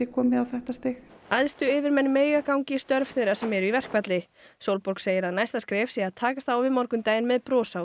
komið á þetta stig æðstu yfirmenn mega ganga í störf þeirra sem eru í verkfalli Sólborg segir að næsta skref sé að takast á við morgundaginn með bros á